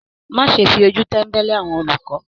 Má ṣe fi ojú tẹ̀mbẹ́lẹ́ àwọn olùkọ!